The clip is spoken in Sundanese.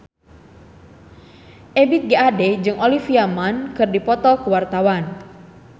Ebith G. Ade jeung Olivia Munn keur dipoto ku wartawan